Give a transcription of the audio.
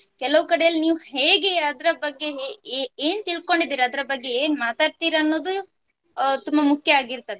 ಕೆಲವು ಕಡೆಯಲ್ಲಿ ನೀವು ಹೇಗೆ ಅದ್ರ ಬಗ್ಗೆ ಹೇ~ ಏ~ ಏ~ ಏನ್ ತಿಳ್ಕೊಂಡಿದ್ದೀರ ಅದರ ಬಗ್ಗೆ ಏನ್ ಮಾತಾಡ್ತೀರ ಅನ್ನೋದು ಅಹ್ ತುಂಬ ಮುಕ್ಯ ಆಗಿರ್ತದೆ.